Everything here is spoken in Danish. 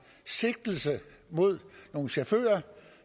sigtelse mod nogle chauffører